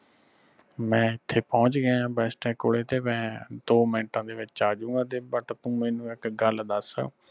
ਬਈ ਮੈਂ ਇਥੇ ਪਹੁੰਚ ਗਿਆ bestech ਕੋਲੇ ਤੇ ਮੈਂ ਦੋ ਮਿੰਟਾਂ ਦੇ ਵਿਚ ਆ ਜੂ ਗਾ but ਤੂੰ ਮੈਨੂ ਇਕ ਗੱਲ ਦਸ